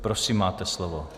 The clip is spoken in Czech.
Prosím, máte slovo.